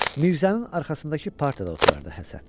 Mirzənin arxasındakı partda oturardı Həsən.